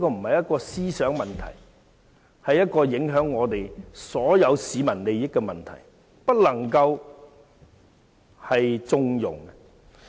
這不是思想的問題，而是影響所有市民利益的問題，是不能縱容的。